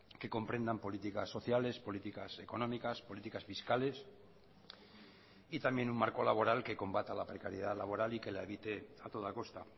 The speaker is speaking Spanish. que comprendan políticas sociales políticas económicas políticas fiscales y también un marco laboral que combata la precariedad laboral y que la evite a toda costa